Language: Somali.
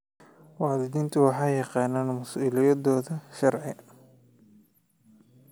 Waalidiintu waxay yaqaaniin mas'uuliyadooda sharci.